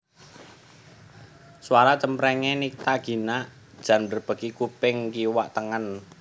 Suara cempreng e Nycta Gina jan mbrebeki kuping kiwa tengen